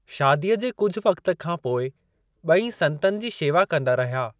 शादीअ जे कुझु वक़्तु खां पोइ बे॒ई संतनि जी शेवा कंदा रहिया।